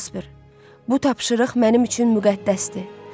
Casper, bu tapşırıq mənim üçün müqəddəsdir.